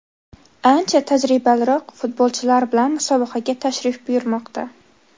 ancha tajribaliroq futbolchilar bilan musobaqaga tashrif buyurmoqda.